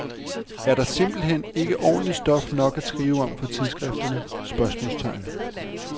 Er der simpelt hen ikke ordentlig stof nok at skrive om for tidsskrifterne? spørgsmålstegn